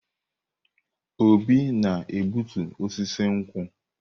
Obi na-egbutu osisi nkwu.